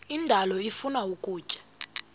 indalo ifuna ukutya